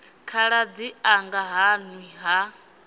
khaladzi anga ha nwi ha